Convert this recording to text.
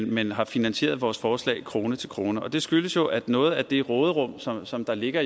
men har finansieret vores forslag krone til krone det skyldes jo at noget af det råderum som der ligger